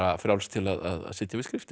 frjáls til að sitja við skriftir